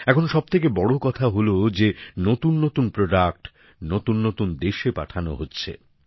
এখন সবথেকে বড় কথা হল যে নতুননতুন পণ্য নতুননতুন দেশে পাঠানো হচ্ছে